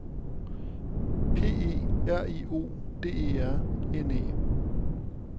P E R I O D E R N E